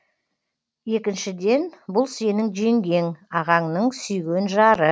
екіншіден бұл сенің жеңгең ағаңның сүйген жары